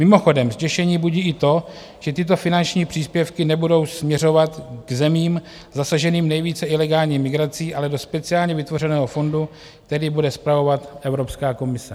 Mimochodem zděšení budí i to, že tyto finanční příspěvky nebudou směřovat k zemím zasaženým nejvíce ilegální migrací, ale do speciálně vytvořeného fondu, který bude spravovat Evropská komise.